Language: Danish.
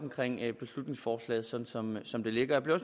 beslutningsforslaget sådan som som det ligger jeg bliver